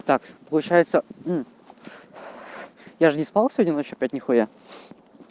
так получается я же не спал сегодня ночью опять ни хуя